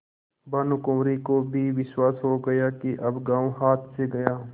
भानुकुँवरि को भी विश्वास हो गया कि अब गॉँव हाथ से गया